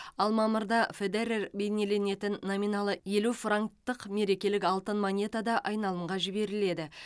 ал мамырда федерер бейнеленетін номиналы елу франктық мерекелік алтын монета да айналымға жіберіледі